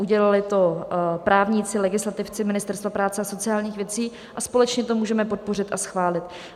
Udělali to právníci, legislativci Ministerstva práce a sociálních věcí, a společně to můžeme podpořit a schválit.